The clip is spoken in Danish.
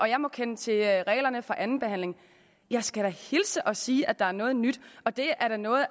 jeg må kende til reglerne for andenbehandling jeg skal da hilse at sige at der er noget nyt og det er noget